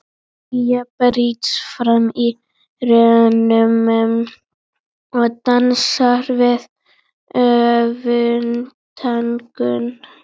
Hlýja brýst fram í rómnum og dansar við örvæntinguna.